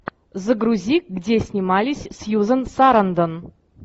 загрузи где снимались сьюзан сарандон